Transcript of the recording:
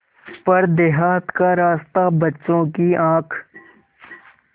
पर देहात का रास्ता बच्चों की आँख